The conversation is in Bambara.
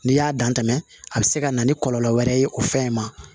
N'i y'a dan tɛmɛ a bɛ se ka na ni kɔlɔlɔ wɛrɛ ye o fɛn in ma